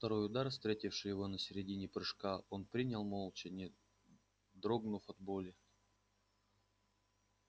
второй удар встретивший его на середине прыжка он принял молча не дрогнув от боли